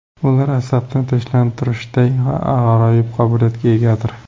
Ular asabni tinchlantirishday g‘aroyib qobiliyatga egadir.